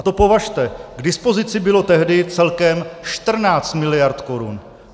A to považte, k dispozici bylo tehdy celkem 14 mld. korun.